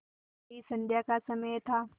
वही संध्या का समय था